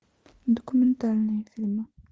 документальные фильмы